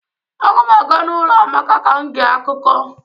Agam aga n'ulo Amaka ka m gee akuko